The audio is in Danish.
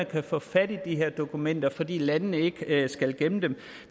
kan få fat i de her dokumenter fordi landene ikke skal gemme dem